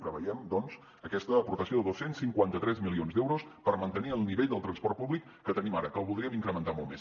preveiem doncs aquesta aportació de dos cents i cinquanta tres milions d’euros per mantenir el nivell del transport públic que tenim ara que el voldríem incrementar molt més